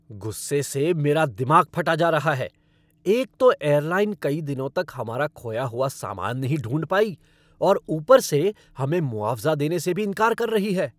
गुस्से से मेरा दिमाग फटा जा रहा है, एक तो एयरलाइन कई दिनों तक हमारा खोया हुआ सामान नहीं ढूंढ पाई और ऊपर से हमें मुआवज़ा देने से भी इनकार कर रही है।